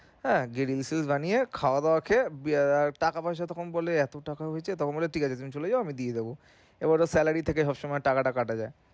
হ্যাঁ বানিয়ে খাওয়া দাওয়া খেয়ে টাকা পয়সার কথা যখন বলে এতো টাকা হয়েছে তখন বলে ঠিক আছে তুমি চলে যাও আমি দিয়ে দেবো পরে ওর salary থেকে সবসময় টাকাটা কাটা যায়